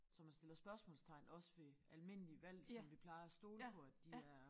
Så man stiller spørgsmålstegn også ved almindelige valg som vi plejer at stole på at de er